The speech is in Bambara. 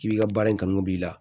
K'i bi ka baara in kanu b'i la